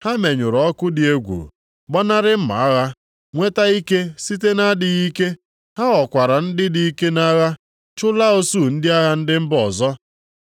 Ha menyụrụ ọkụ dị egwu, gbanarị mma agha, nweta ike site nʼadịghị ike. Ha ghọkwara ndị dị ike nʼagha, chụlaa usuu ndị agha ndị mba ọzọ.